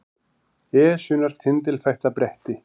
Esjunnar tindilfætta bretti